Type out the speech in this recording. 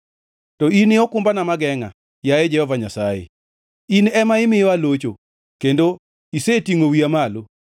To In e okumbana mogengʼa, yaye Jehova Nyasaye; In ema imiyo alocho, kendo isetingʼo wiya malo.